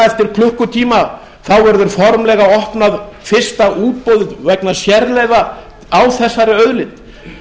eftir klukkutíma verður formlega opnað fyrsta útboð vegna sérleyfa á þessari auðlind